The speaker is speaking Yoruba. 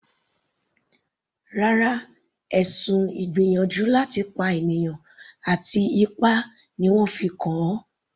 Rárá, ẹ̀sùn ìgbìyànjú láti pànìyàn àti ipá ni wọ́n fi kàn an.